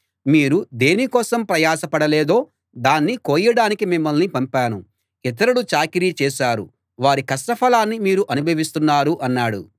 మీరు దేని కోసం ప్రయాస పడలేదో దాన్ని కోయడానికి మిమ్మల్ని పంపాను ఇతరులు చాకిరీ చేశారు వారి కష్టఫలాన్ని మీరు అనుభవిస్తున్నారు అన్నాడు